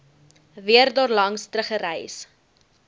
weer daarlangs teruggereis